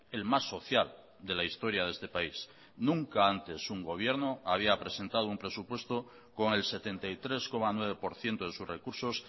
el más social de la historia de este país nunca antes un gobierno había presentado un presupuesto con el setenta y tres coma nueve por ciento de sus recursos